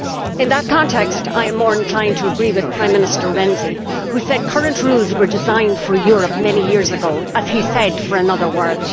In that context I am more inclined to agree with Prime Minister Renzi, who said that the current rules were designed for the Europe of many years ago, as he said, for another world.